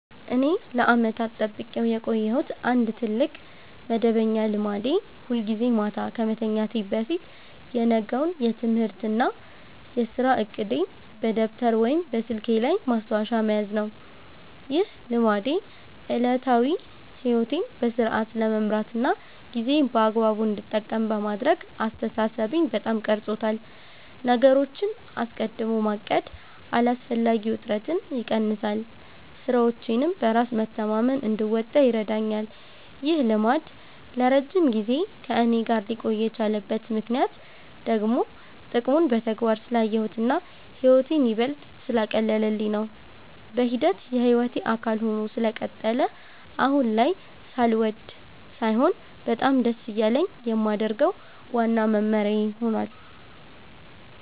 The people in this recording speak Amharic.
እኔ ለዓመታት ጠብቄው የቆየሁት አንድ ትልቅ መደበኛ ልማዴ ሁልጊዜ ማታ ከመተኛቴ በፊት የነገውን የትምህርትና የሥራ ዕቅዴን በደብተር ወይም በስልኬ ላይ ማስታወሻ መያዝ ነው። ይህ ልማዴ ዕለታዊ ሕይወቴን በሥርዓት ለመምራትና ጊዜዬን በአግባቡ እንድጠቀም በማድረግ አስተሳሰቤን በጣም ቀርጾታል። ነገሮችን አስቀድሞ ማቀድ አላስፈላጊ ውጥረትን ይቀንሳል፤ ሥራዎቼንም በራስ መተማመን እንድወጣ ይረዳኛል። ይህ ልማድ ለረጅም ጊዜ ከእኔ ጋር ሊቆይ የቻለበት ምክንያት ደግሞ ጥቅሙን በተግባር ስላየሁትና ሕይወቴን ይበልጥ ስላቀለለልኝ ነው። በሂደት የሕይወቴ አካል ሆኖ ስለቀጠለ አሁን ላይ ሳልወድ ሳይሆን በጣም ደስ እያለኝ የማደርገው ዋናው መመሪያዬ ሆኗል።